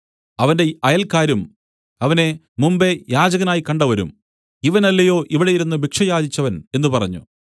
അവന്റെ അയൽക്കാരും അവനെ മുമ്പെ യാചകനായി കണ്ടവരും ഇവനല്ലയോ അവിടെ ഇരുന്നു ഭിക്ഷ യാചിച്ചവൻ എന്നു പറഞ്ഞു